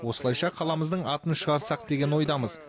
осылайша қаламыздың атын шығарсақ деген ойдамыз